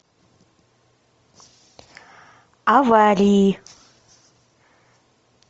аварии